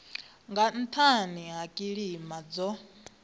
nga nhani ha kilima dzo